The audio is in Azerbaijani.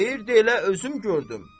Deyirdi elə özüm gördüm.